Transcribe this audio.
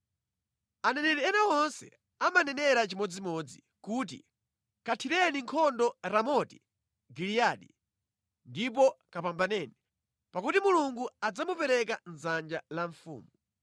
Aneneri ena onse amanenera chimodzimodzi kuti, “Kathireni nkhondo Ramoti Giliyadi ndipo kapambaneni, pakuti Mulungu adzamupereka mʼdzanja la mfumu.”